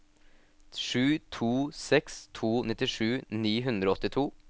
sju to seks to nittisju ni hundre og åttito